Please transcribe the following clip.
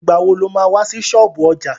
Ìgbà wo lo má wá sí ṣọ́ọ̀bú ọjà?